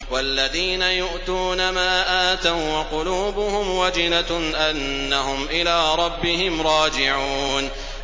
وَالَّذِينَ يُؤْتُونَ مَا آتَوا وَّقُلُوبُهُمْ وَجِلَةٌ أَنَّهُمْ إِلَىٰ رَبِّهِمْ رَاجِعُونَ